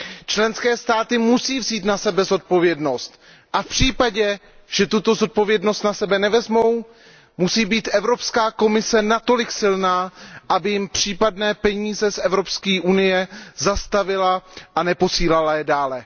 Členské státy musí vzít na sebe zodpovědnost a v případě, že tuto zodpovědnost na sebe nevezmou, musí být Evropská komise natolik silná, aby jim případné peníze z Evropské unie zastavila a neposílala je dále.